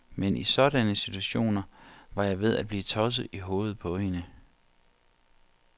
Men i sådanne situationer var jeg ved at blive tosset i hovedet på hende.